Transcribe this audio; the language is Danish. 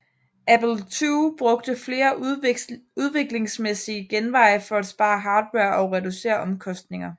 Apple II brugte flere udviklingsmæssige genveje for at spare hardware og reducere omkostninger